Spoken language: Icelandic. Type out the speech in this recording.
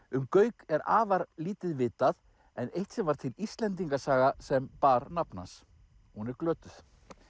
um Gauk er afar lítið vitað en eitt sinn var til Íslendingasaga sem bar nafn hans hún er glötuð